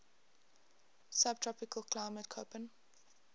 subtropical climate koppen